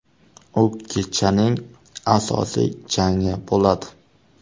U kechaning asosiy jangi bo‘ladi.